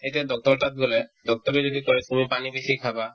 এতিয়া doctor ৰৰ তাত গ'লে doctor য়ে যদি কই তুমি পানী বেছি খাবা